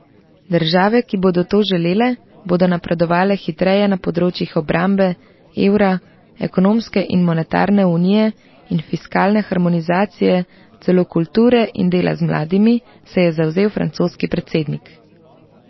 Države, ki bodo to želele, bodo napredovale hitreje na področjih obrambe, evra, ekonomske in monetarne unije in fiskalne harmonizacije, celo kulture in dela z mladimi, se je zavzel francoski predsednik.